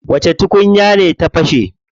Wace tukunya ce ta fashe?